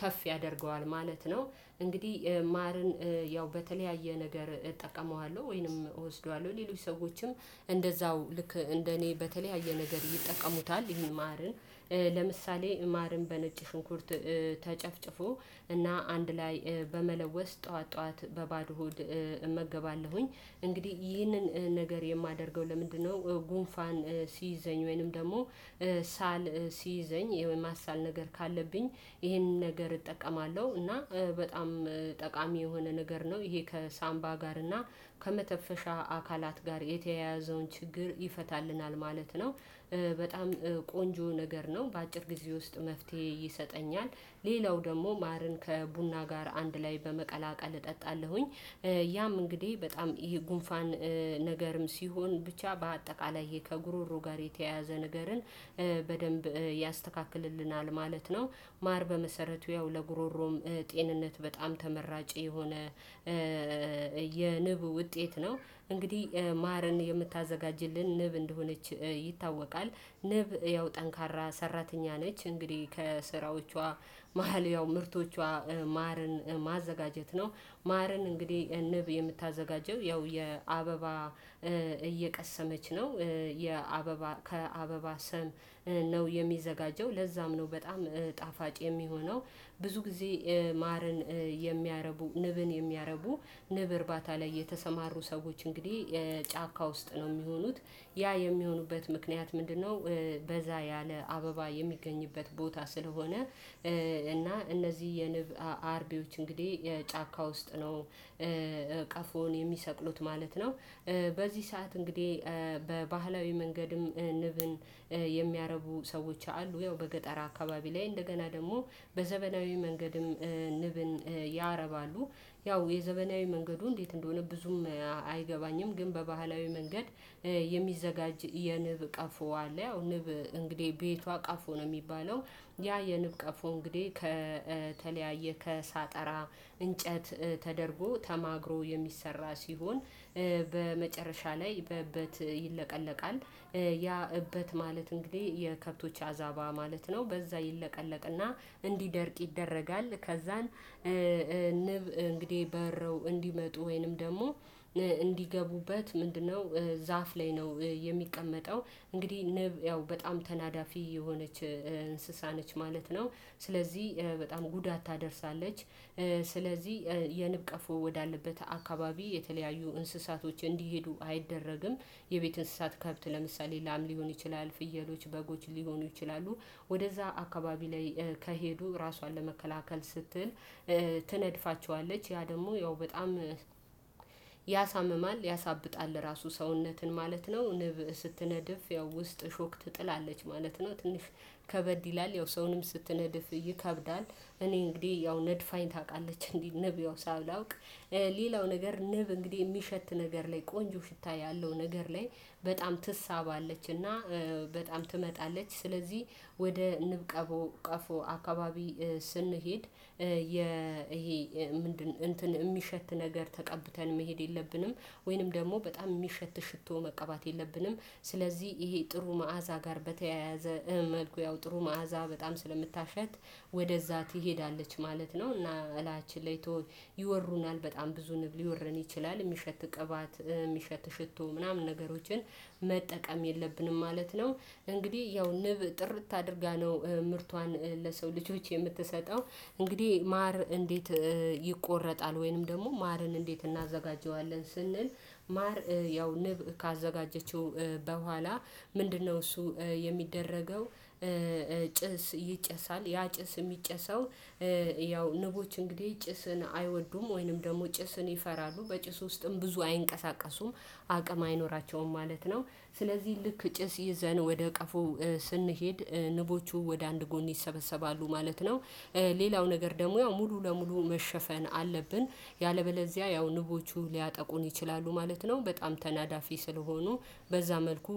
ከፍ ያደርገዋል ማለት ነው። እንግዲህ ማርን ያው በተለያየ ነገር እጠቀመዋለሁ ወይንም እወስደዋለሁ ሌሎች ሰዎችም እንደዛው ልክ እንደ እኔ በተለያየ ነገር ይጠቀሙታል። ይሄ ማርን ለምሳሌ ማርን በነጭ ሽንኩርት ተጨፍጭፎ እና አንድ ላይ በመለወስ ጠዋት ጠዋት በባዶ ሆድ እመገባለሁኝ እንግዲህ ይህንን ነገር የማደርገው ለምንድነው? ጉንፋን ሲይዘኝ ወይንም ደግሞ ሳል ሲይዘኝ የማሳል ነገር ካለብኝ ይሄንን ነገር እጠቀማለሁ። እና በጣም ጠቃሚ የሆነ ነገር ነው ይሄ ከሳምባ ጋር እና ከመተፈሻ አካላት ጋር የተያያዘውን ችግር ይፈታልናል ማለት ነው። በጣም ቆንጆ ነገር ነው በአጭር ጊዜ ውስጥ መፍትሄ ይሰጠኛል። ሌላው ደግሞ ማርን ከቡና ጋር አንድ ላይ በመቀላቀል እጠጣለሁኝ። ያም እንግዲህ በጣም ይሄ ጉንፋን ነገርም ሲሆን ብቻ በአጠቃላይ ይሄ ከጉሮሮ ጋር የተያያዘ ነገርን በደንብ ያስተካክልልናል ማለት ነው። ማር በመሰረቱ ያው ለጉሮሮም ጤንነት በጣም ተመራጭ የሆነ የንብ ውጤት ነው። እንግዲህ ማርን የምታዘጋጅልን ንብ እንደሆነች ይታወቃል። ንብ ያው ጠንካራ ሰራተኛ ነች እንግዲህ ከስራዎቿ መሃል ያው ምርቶቿ ማርን ማዘጋጀት ነው። ማርን እንግዲህ ንብ የምታዘጋጀው ያው የአበባ እየቀሰመች ነው። የአበባ ከአበባ ሰም ነው የሚዘጋጀው ለዛም ነው በጣም ጣፋጭ የሚሆነው። ብዙ ጊዜ ማርን የሚያረቡ ንብን የሚያረቡ ንብ እርባታ ላይ የተሰማሩ ሰዎች እንግዲህ ጫካ ውስጥ ነው የሚሆኑት። ያ የሚሆኑበት ምክንያት ምንድነው? በዛ ያለ አበባ የሚገኝበት ቦታ ስለሆነ። እና እነዚህ የንብ አርቢዎች እንግዲህ የጫካ ውስጥ ነው ቀፎን የሚሰቅሉት ማለት ነው። በዚህ ሰዓት እንግዲህ በባህላዊ መንገድም ንብን የሚያረቡ ሰዎች አሉ ያው በገጠር አካባቢ ላይ እንደገና ደግሞ በዘመናዊ መንገድም ንብን ያረባሉ። ያው የዘመናዊ መንገዱ እንዴት እንደሆነ ብዙም አይገባኝም። ግን በባህላዊ መንገድ የሚዘጋጅ የንብ ቀፎ አለ። ያው ንብ እንግዲህ ቤቷ ቀፎ ነው የሚለለው። ያ የንብ ቀፎ እንግዲህ ከተለያየ ከሳጠራ እንጨት ተደርጎ ተማግሮ የሚሰራ ሲሆን። በመጨረሻ ላይ በእበት ይለቀለቃል። ያ እበት ማለት እንግዲህ የከብቶች አዛባ ማለት ነው። በዛ ይለቀለቅና እንዲደርቅ ይደረጋል። ከዛን ንብ እንግዲህ በረው እንዲመጡ ወይንም ደግሞ እንዲገቡበት ምንድነው? ዛፍ ላይ ነው የሚቀመጠው። እንግዲህ ንብ ያው በጣም ተናዳፊ የሆነች እንስሳ ነች ማለት ነው። ስለዚህ በጣም ጉዳት ታደርሳለች። ስለዚህ የንብቀፎ ወዳለበት አካባቢ የተለያዩ እንስሳቶች እንዲሄዱ አይደረግም። የቤት እንስሳት ከብት ለምሳሌ ላም ሊሆን ይችላል ፍየሎች በጎች ሊሆኑ ይችላሉ። ወደዛ አካባቢ ላይ ከሄዱ ራሷን ለመከላከል ስትል ትነድፋቸዋለች ያ ደግሞ ያው በጣም ያሳምማል። ያሳብጣል ራሱ ሰውነትን ማለት ነው። ንብ ስትነድፍ ያው ውስጥ ሾክ ትጥላለች ማለት ነው። ትንሽ ከበድ ይላል ያው ሰውንም ስትነድፍ ይከብዳል እኔ እንግዲህ ያው ነድፋኝ ታውቃለች። እንዲህ ንብ ያው ሳላውቅ ሌላው ነገር ንብ እንግዲህ የሚሸት ነገር ላይ ቆንጆ ሽታ ያለው ነገር ላይ በጣም ትሳባለች እና። በጣም ትመጣለች ስለዚህ ወደ ንብ ቀፎ ቀፎ አካባቢ። ስንሄድ የ ይሄ ምንድን እንትን የሚሸት ነገር ተቀብተን መሄድ የለብንም። ወይንም ደግሞ በጣም የሚሸት ሽቶ መቀባት የለብንም። ስለዚህ ይሄ ጥሩ መዓዛ ጋር በተያያዘ መልኩ ያው ጥሩ መዓዛ በጣም ስለምታሸት ወደዛ ትሄዳለች ማለት ነው። እና እላያችንላይ ትሆን ይወሩናል በጣም ብዙ ንብ ሊወረን ይችላል የሚሸት ቅባት የሚሸት ሽቶ ምናምን ነገሮችን መጠቀም የለብንም ማለት ነው። እንግዲህ ያው ንብ ጥርት አድርጋ ነው ምርቷን ለሰው ልጆች የምትሰጠው። እንግዲህ ማር እንዴት? ይቆረጣል ወይንም ደግሞ ማርን እንዴት እናዘጋጀዋለን ስንል። ማር ያው ንብ ካዘጋጀችው በኋላ ምንድነው እሱ የሚደረገው? ጭስ ይጨሳል ያ ጭስ የሚጨሰው ያው ንቦች እንግዲህ ጭስን አይወዱም ወይንም ደግሞ ጭስን ይፈራሉ በጭስ ውስጥም ብዙ አይንቀሳቀሱም አቅም አይኖራቸውም ማለት ነው። ስለዚህ ልክ ጭስ ይዘን ወደ ቀፎ ስንሄድ ንቦቹ ወደ አንድ ጎን ይሰበሰባሉ ማለት ነው። ሌላው ነገር ደግሞ ያው ሙሉ ለሙሉ መሸፈን አለብን። ያለበለዚያ ያው ንቦቹ ሊያጠቁን ይችላሉ ማለት ነው በጣም ተናዳፊ ስለሆኑ። በዛ መልኩ